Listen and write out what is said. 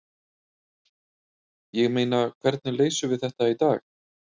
Ég meina, hvernig leysum við þetta í dag?